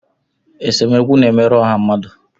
Esemokwu na-emerụ ọha mmadụ